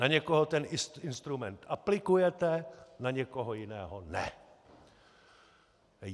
Na někoho ten instrument aplikujete, na někoho jiného ne.